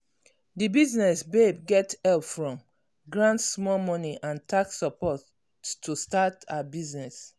that business babe get help from grant small money and tax support to start her business.